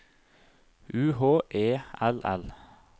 U H E L L